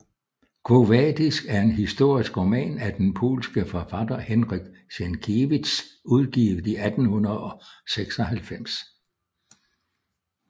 Quo vadis er en historisk roman af den polske forfatter Henryk Sienkiewicz udgivet i 1896